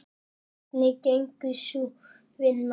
Hvernig gengur sú vinna?